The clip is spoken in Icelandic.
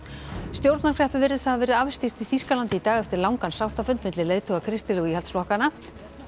stjórnarkreppu virðist hafa verið afstýrt í Þýskalandi í dag eftir langan sáttafund milli leiðtoga kristilegu íhaldsflokkanna